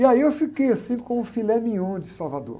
E aí eu fiquei assim com o filé mignon de Salvador.